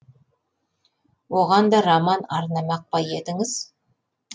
оған да роман арнамақ па едіңіз